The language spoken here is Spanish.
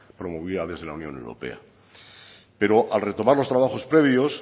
promovida desde la unión europea pero al retomar los trabajos previos